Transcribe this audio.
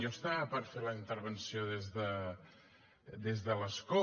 jo estava per fer la intervenció des de l’escó